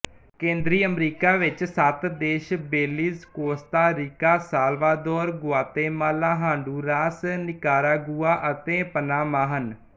ਕੇਂਦਰੀ ਅਮਰੀਕਾ ਵਿੱਚ ਸੱਤ ਦੇਸ਼ਬੇਲੀਜ਼ Costa Rica Salvador Guatemala Honduras Nicaragua ਅਤੇ ਪਨਾਮਾਹਨ